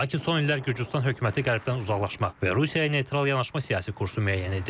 Lakin son illər Gürcüstan hökuməti qərbdən uzaqlaşmaq və Rusiyaya neytral yanaşma siyasi kursu müəyyən edib.